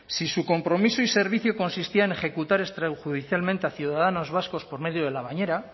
si su compromiso y servicio consistía en ejecutar extrajudicialmente a ciudadanos vascos por medio de la bañera